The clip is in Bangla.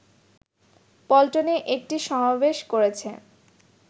পল্টনে একটি সমাবেশ করেছে